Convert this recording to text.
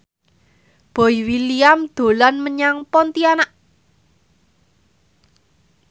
Boy William dolan menyang Pontianak